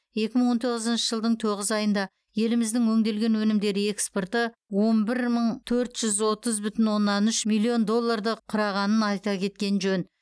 екі мың он тоғызыншы жылдың тоғыз айында еліміздің өңделген өнімдері экспорты он бір мың төрт жүз отыз бүтін оннан үш миллион долларды құрағанын айта кеткен жөн